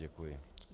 Děkuji.